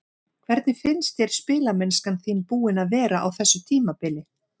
Hvernig finnst þér spilamennskan þín búin að vera á þessu tímabili?